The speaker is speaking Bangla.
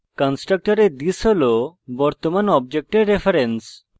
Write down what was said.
কন্সট্রকটরে this হল বর্তমান অবজেক্টের reference